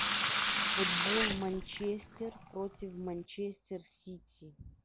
футбол манчестер против манчестер сити